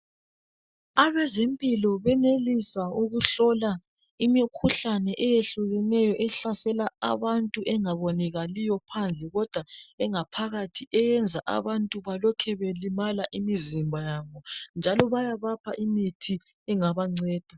Abezimpilo benelisa ukuhlola imikhuhlane eyehlukeneyo ehlasela abantu engabonekaliyo phandle kodwa engaphakathi eyenza abantu balokhe belimala imizimba yabo, njalo baya bapha imithi engabanceda.